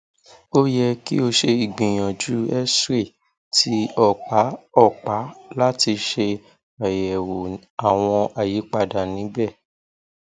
o yẹ ki o ṣe igbiyanju xray ti ọpa ọpa lati ṣe ayẹwo awọn ayipada nibẹ